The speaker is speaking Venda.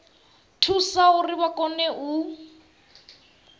thusa uri vha kone u